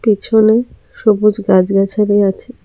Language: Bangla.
পেছনে সবুজ গাছ গাছাড়ি আছে।